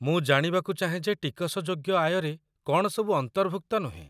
ମୁଁ ଜାଣିବାକୁ ଚାହେଁ ଯେ ଟିକସଯୋଗ୍ୟ ଆୟରେ କ'ଣ ସବୁ ଅନ୍ତର୍ଭୁକ୍ତ ନୁହେଁ।